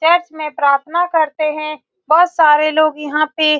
church में प्रार्थना करते हैं बहुत सारे लोग यहाँ पे --